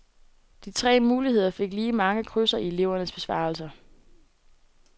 De tre muligheder fik lige mange krydser i elevernes besvarelser.